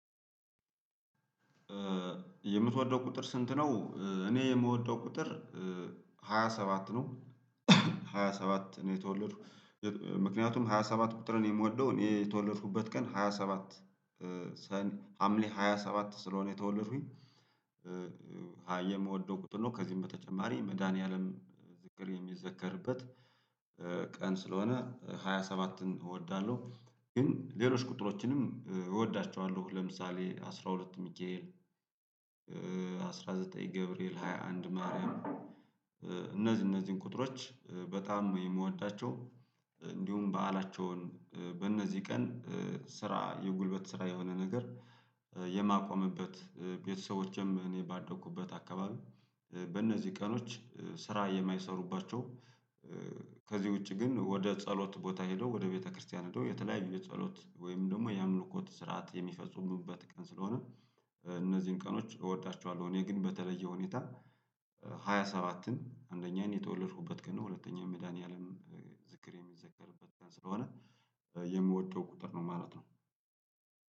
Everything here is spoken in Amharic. የምትወደው ቁጥር ስንት ነው እኔ የምወደው ቁጥር ሃያ ሰባት ነው ሃያ ሰባት ነው የተወለድኩ ምክንያቱም ሃያ ሰባት ቁጥርን የምወደው እኔ የተወለድኩበት ቀን ሃያ ሰባት ሀምሌ ሃያ ሰባት ስለሆነ የተወለድኩኝ የምወደው ቁጥር ነው ከዚህም በተጨማሪ መድኃኒዓለም ዝክር የሚዘከርበት ቀን ስለሆነ ሃያ ሰባትን እወዳለሁ ግን ሌሎች ቁጥሮችንም እወዳቸዋለሁ ለምሳሌ አስራ ሁለት ሚካኤል አስራ ዘጠኝ ገብርኤል ሃያ አንድ ማርያም እነዚህ እነዚህን ቁጥሮች በጣም የምወዳቸው እንዲሁም በዓላቸውን በእነዚህ ቀን ስራ የጉልበት ስራ የሆነ ነገር የማቆምበት ቤተሰቦችም እኔ ባደኩበት አካባቢ በእነዚህ ቀኖች ስራ የማይሰሩባቸው ከዚህ ውጪ ግን ወደ ጸሎት ቦታ ሄዶ ወደ ቤተክርስቲያን ሄዶ የተለያዩ የጸሎት ወይም ደግሞ የ አምልኮት ስርዓት የሚፈጽሙበት ቀን ስለሆነ እነዚህን ቀኖች እወዳቸዋለሁ እኔ ግን በተለየ ሁኔታ ሃያ ሰባትን አንደኛዬን የተወለድኩበት ቀን ነው ሁለተኛው መድኃኒዓለም ዝክር የሚዘከርበት ቀን ስለሆነ የምወጣው ቁጥር ነው ማለት ነው።